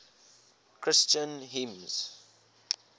christian hymns